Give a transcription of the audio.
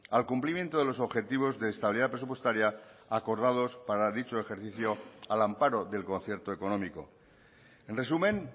al cumplimiento de los objetivos de estabilidad presupuestaria acordados para dicho ejercicio al amparo del concierto económico en resumen